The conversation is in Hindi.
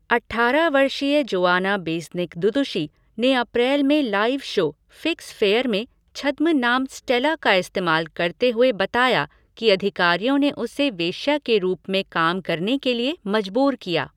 अठारह वर्षीय जोआना बेस्निक दुदुशी, ने अप्रैल में लाइव शो 'फ़िक्स फ़ेयर' में छद्म नाम 'स्टेला' का इस्तेमाल करते हुए बताया कि अधिकारियों ने उसे वेश्या के रूप में काम करने के लिए मजबूर किया।